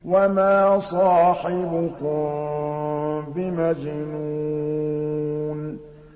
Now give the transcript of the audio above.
وَمَا صَاحِبُكُم بِمَجْنُونٍ